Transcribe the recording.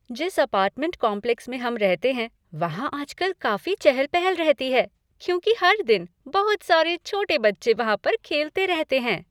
जिस apartment complex में हम रहते हैं, वहाँ आजकल काफी चहल पहल रहती है क्योंकि हर दिन बहुत सारे छोटे बच्चे वहाँ पर खेलते रहते हैं।